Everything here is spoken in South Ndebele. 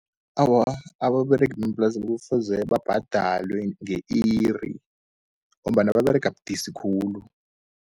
Awa, ababeregi bemaplasini kufuze babhadalwe nge-iri, ngombana baberega budisi khulu.